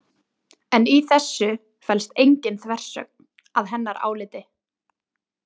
En í þessu felst engin þversögn að hennar áliti.